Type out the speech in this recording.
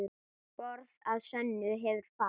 Borð að sönnu hefur fat.